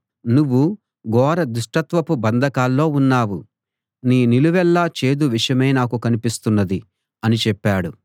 నువ్వు ఘోర దుష్టత్వపు బంధకాల్లో ఉన్నావు నీ నిలువెల్లా చేదు విషమే నాకు కనిపిస్తున్నది అని చెప్పాడు